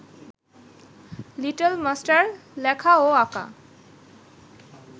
little master লেখা ও আঁকা